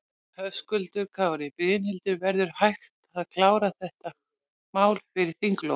Höskuldur Kári: Brynhildur, verður hægt að klára þetta mál fyrir þinglok?